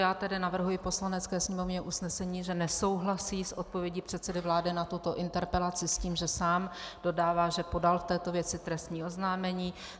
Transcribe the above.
Já tedy navrhuji Poslanecké sněmovně usnesení, že nesouhlasí s odpovědí předsedy vlády na tuto interpelaci s tím, že sám dodává, že podal v této věci trestní oznámení.